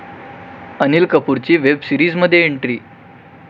अनिल कपूरची वेब सीरिजमध्ये एंट्री